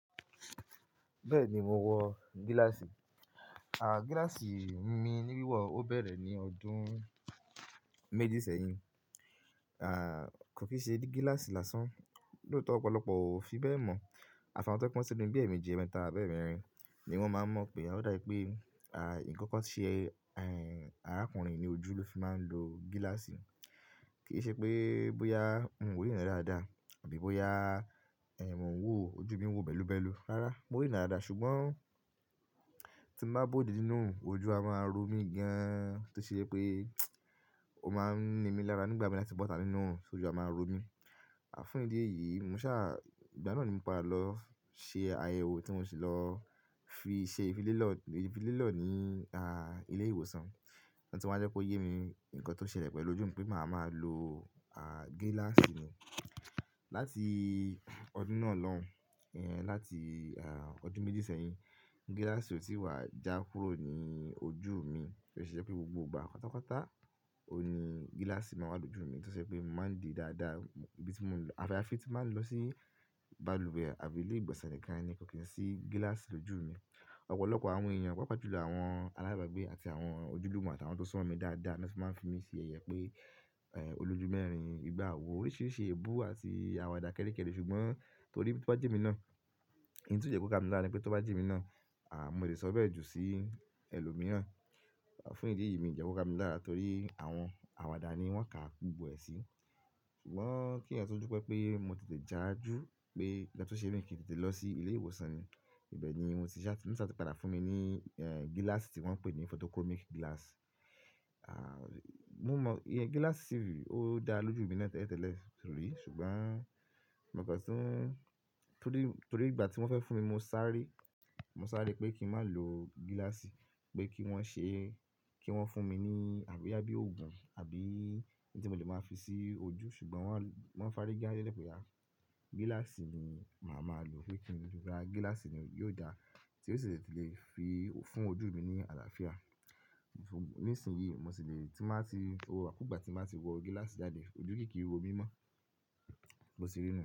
Bẹ́ẹ̀ni mo wọ gíláàsì. Gíláàsì mi ní wíwọ̀ ọ bẹ̀rẹ̀ ní ọdún méjì sẹ́yìn. Kò kí ṣe gíláàsì lásán, lóòótọ́ ọ̀pọ̀lọpọ̀ ò fi bẹ́ẹ̀ mọ̀. Àfà won tó jé pé wọ́n tí ni bí ẹ̀meji ẹ̀mẹta àbẹ́mẹ́rin ni wọ́n máa ń mọ̀ pé. Ó dá wí pé, ikankan ṣe, arákùnrin yì ni ojú ló fi máa ń lo gíláàsì. Kì í ṣe pé bóyá mo rí ràn dáadáa àbí bóyá, mo ń wò ojú mi ń wò bẹ́lúbẹ́lú. Rárá, mo rí ràn dáadáa ṣùgbọ́n tí m bá bóòde nínú oòrùn, ojú a máa ń ro mí gan-an tó ṣe jé pé ó máa ń ni mí lára nígbà mi láti bó tà á nínú òòrùn ṣo ojú a máa ro mí. Fún ìdí èyí mo ṣá, ìgbà náà ni mo pa dà lọ ṣe àyẹ̀wò tí mo sì lọ fi ṣe ìfilélọ́, ìfilélọ́ ní, ilé ìwòsàn. Ọ̀hún tó wá jẹ́ kó yé mi ǹkan tó ṣẹlẹ̀ pẹ̀lú ojú mi pé màá máa lo, gíláàsì ni. Látì ọdún náà lọ́hùn, láti, ọdún méjì sẹ́yìn, gíláàsì ò tí wà já kúrò ní ojú mi. Ó ṣe je pé gbogbo gbà pátápátá òun ní gíláàsì máa wà lójú mi tó ṣe pé mo máa ń di dáadáa. Ibi tí mò ń lọ, àfi tí máa ń lọ sí balùwẹ̀ àbí ilé ìgbọ̀nsẹ̀ nìkan ni kò kí ń sí gíláàsì lójú mi. Ọ̀pọ̀lọpọ̀ àwọn èèyàn, pàápàá jùlọ àwọn aláìbágbé àti àwọn ojúlùúmù àti àwọn tó sún mọ́n mi dáadáa ló fi máa ń fi mí ṣe yẹyẹ pé, olójú mẹ́rin, igba àwo, oríṣìíríṣìí èébú àti àwàdà kéré kéré ṣùgbọ́n torí tó bá je emi náà, ìhun tí ó jẹ́ kó ká mi lára ni pé tó bá jé emi náà, mo lè sọ bẹ́ẹ̀ jù sí ẹlòmíràn. Fún ìdí èyí mì jẹ́ kó ká mi lára torí àwọn àwàdà ni wọ́n ká gbogbo ẹ sí. Ṣùgbọ́n kí ẹ̀yàn tún dupé pé mo tètè já ju pé nkan tó ṣe mí i kí n tètè lọ sí ilé ìwòsàn ni. Ibẹ̀ ni mo ti sá, wọ́n sá ti padà fún mi ní, gíláàsì tí wọ́n ń pè ní photochromic glass. Mo mọ iyen gíláàsì yìí, ó dá lójú mi na tẹ́tẹ́tẹ́lẹ̀ torí ṣùgbọ́n mo kó tún, torí, torí ìgbà tí wọ́n fẹ́ fún mi mo sáré, mo sáré pé kí n má lò gíláàsì, pé kí wọ́n ṣe, kí wọ́n fún mi ní àbí bóyá bí òògùn àbí ohun tí mo lè máa fi sí ojú ṣùgbọ́n wọ́n, wọ́n fárígẹ́ dé lè pè à Gíláàsì ni màá máa lò pé kí n fi gbá, gíláàsì ni yóò dá, tí ó sì lè fi fún ojú mi ní àlàáfíà. Nísìnyí mo sì lè tí máa ti, gbogbo igbàkugbá tí màá ti wọ gíláàsì jáde ojú kì í ro mí mọ́. Bo sì rí nú.